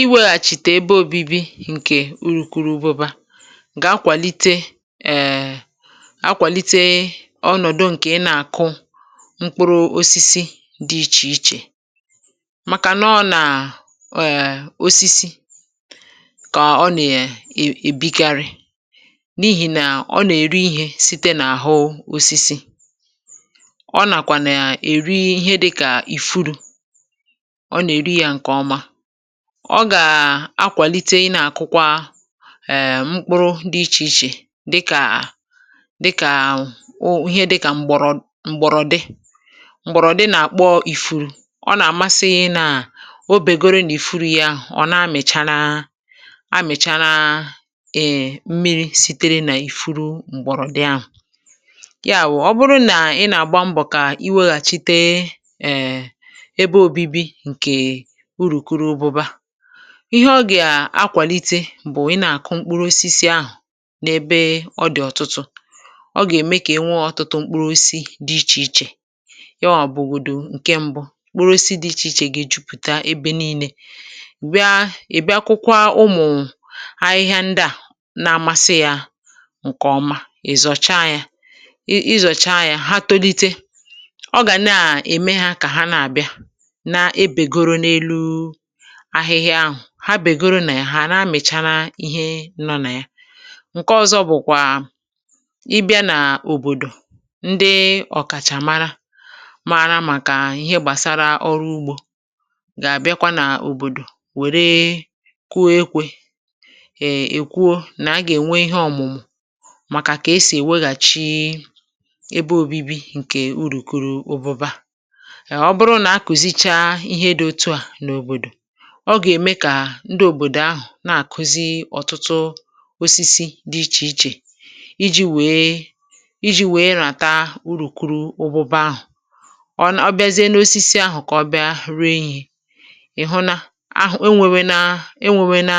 Ìwėeghàchìtè ebe obi̇bi̇ ǹkè urùkurubụba ga akwàlite ẹẹ̀ akwàlite ọnọ̀dụ̀ ǹkè ị nà-àkụ mkpụrụ̇ osisi dị̇ ichè ichè màkà nọ nà ẹẹ̀ osisi kà ọ nà yà è èbikarị n’ihì nà ọ nà-èri ihė site n’àhụ osisi, ọ nàkwà nà yà èri ihe dịkà ìfuru, ọ na eri ya nke ọma, ọ gà-akwàlite ị nà-àkụkwa um mkpụrụ dị ichè ichè dịkà dịkà o ihe dịkà m̀gbọ̀rọ̀ m̀gbọ̀rọ̀dị, m̀gbọ̀rọ̀dị nà-àkpọ ìfuru ọ nà-àmasị nà o bègoro nà ìfuru ya ọ nà-amị̀chala amị̀chala ị̀ị̀̀ mmiri sitere nà ìfuru m̀gbọ̀rọ̀dị ahụ̀, ya wù ọ bụrụ nà ị nà-àgba mbọ̀ kà iweghàchite ẹ̀ ebe obibi ǹkè urùkurubụba ihe ọ gà-akwàlite bụ̀ ị nà-àkụ mkpụrụosisi ahụ̀ n’ebe ọ dị̀ ọ̀tụtụ̇ ọ gà-ème kà e nwee ọtụtụ mkpụrụosisi dị ichè ichè yawa bugodu ǹkè mbụ kpụrụosisi dị ichè ichè gà-ejupụ̀ta ebė nii̇nė bịa ị̀ bịa kụkwa ụmụ̀ ahịhịa ndị à na-amasị yȧ ǹkèọma ị̀ zọcha yȧ, ị̀ zọ̀cha yȧ ha tolite ọ gà na-ème hȧ kà ha na-àbịa na begoro na élú ahịhịa ahụ̀ ha bègoro nà ị̀ hà àna amị̀chara ihe nọ nà ya, ǹke ọzọ bụ̀kwà ịbịa nà òbòdò ndị ọ̀kàchà mara, mara màkà ihe gbàsara ọrụ ugbȯ gà-àbịakwa nà òbòdò wère kuo ekwė è kwuo nà a gà-ènwe ihe ọ̀mụ̀mụ̀ màkà kà esì èweghàchi ebe obibi ǹkè urùkurubụba um ọbụrụ nà a kùzicha ihe dị otu à na òbòdò oga eme ka ndị òbòdò ahụ̀ na-àkụzi ọ̀tụtụ osisi dị ichè ichè iji wèe iji wèe ràta urùkurubụba ahụ̀, ọ biazie n’osisi ahụ̀ kà ọ bịa ree ihe ị̀ hụnà ahụ̀ enwėwė na enwėwė na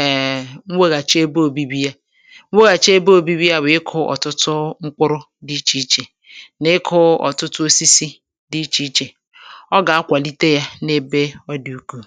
eee nwèghàchi ebe òbibi ya nwèghàchi ebe òbibi ya bụ̀ ịkụ̇ ọ̀tụtụ mkpụrụ dị ichè ichè nà ịkụ̇ ọ̀tụtụ osisi dị̇ ichè ichè, oga akwalite ya na ebe odi ukwuu.